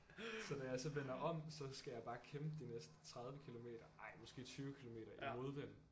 Så da jeg så vender om så skal jeg bare kæmpe de næste 30 kilometer ej måske 20 kilometer i modvind